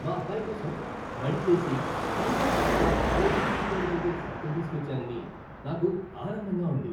మా అబ్బాయి కోసం మడిచేసి, తనతో పాటు కాలేజీకి తీసుకెళ్లగలిగే సైకిల్ తీసుకొచ్చానని నాకు ఆనందంగా ఉంది.